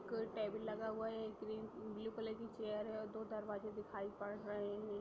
कोई टेबल लगा हुआ हैं| ब्लू कलर की चेयर हैं और दो दरवाजे दिखाई पद रहे हैं।